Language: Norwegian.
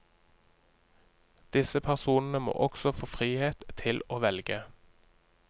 Disse personene må også få frihet til å velge.